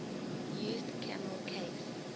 used camel case